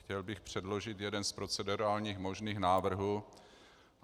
Chtěl bych předložit jeden z procedurálních možných návrhů.